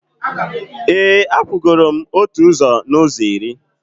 e, akwụgoro m otu ụzọ n’ụzọ iri.